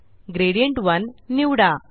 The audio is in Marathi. ग्रेडियंट 1 निवडा